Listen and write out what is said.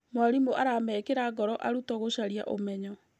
Mwarimũ aramekĩra ngoro arutwo gũcaria ũmenyo.